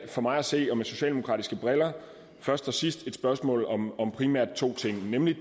for mig at se og med socialdemokratiske briller først og sidste et spørgsmål om to ting nemlig